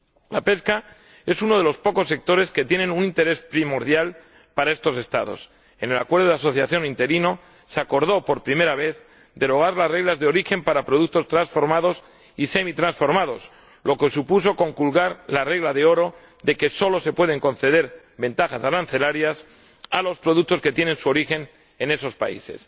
La pesca es uno de los pocos sectores que tienen un interés primordial para estos Estados. En el acuerdo de asociación interino se acordó, por primera vez, derogar las reglas de origen para productos transformados y semitransformados, lo que supuso conculcar la regla de oro de que solo se pueden conceder ventajas arancelarias a los productos que tienen su origen en esos países.